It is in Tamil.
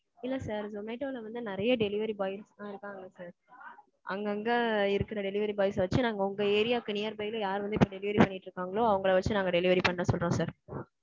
இல்ல sir. zomato ல வந்து நிறைய delivery boys லாம் இருக்காங்க sir. அங்கங்க இருக்குற delivery boys வச்சு நாங்க உங்க ஏரியாக்கு nearby ல யார் வந்து delivery பண்ணிட்டு இருக்காங்களோ அவங்கள வச்சு நாங்க delivery பண்ண சொல்றோம் sir.